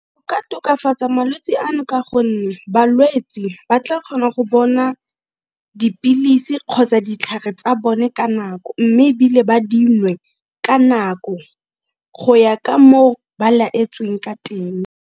Go ka tokafatsa malwetse ano ka gonne balwetse ba tla kgona go bona dipilisi kgotsa ditlhare tsa bone ka nako, mme ebile ba dinwe ka nako go ya ka moo ba laetsweng ka teng.